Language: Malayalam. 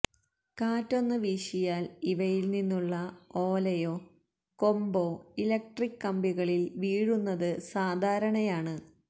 കാറ്റൊന്നു വീശിയാല് ഇവയില് നിന്നുള്ള ഓലയോ കൊമ്പോ ഇലക്ട്രിക്ക് കമ്പികളില് വീഴുന്നതു സാധാരണയാണ്